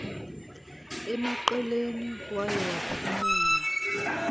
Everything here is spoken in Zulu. emaqeleni waye waphumela